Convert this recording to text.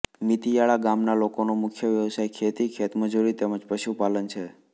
મીતીયાળા ગામના લોકોનો મુખ્ય વ્યવસાય ખેતી ખેતમજૂરી તેમ જ પશુપાલન છે